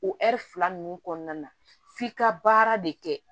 O fila ninnu kɔnɔna na f'i ka baara de kɛ